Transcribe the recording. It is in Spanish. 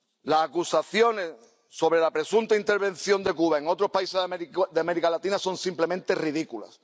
Las acusaciones sobre la presunta intervención de Cuba en otros países de América Latina son, simplemente, ridículas.